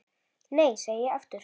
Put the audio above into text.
Nei, segi ég aftur.